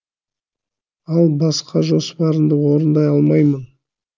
ал басқа жоспарыңды орындай алмаймын